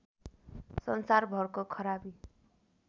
सन्सारभरको खराबी